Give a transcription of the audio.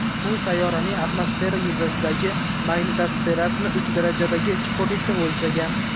U sayyoraning atmosfera yuzasidagi magnitosferasini uch darajadagi chuqurlikda o‘lchagan.